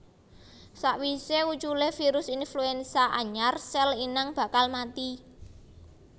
Sawisé uculé virus influenza anyar sèl inang bakal mati